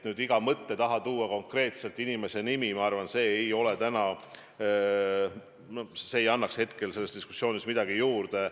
Märkida iga mõtte puhul konkreetse inimese nimi – ma arvan, et see ei annaks hetkel selles diskussioonis midagi juurde.